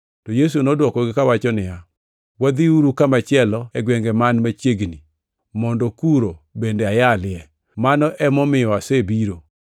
To Yesu nodwokogi kawacho niya, “Wadhiuru kamachielo e gwenge man machiegni, mondo kuno bende ayalie.” Mano emomiyo asebiro.